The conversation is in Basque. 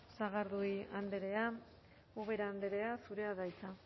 eskerrik asko sagardui andrea ubera andrea zurea da hitza